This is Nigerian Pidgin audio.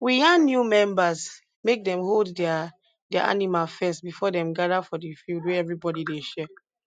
we yan new members make dem hold their their animal first before dem gada for di field wey everybody dey share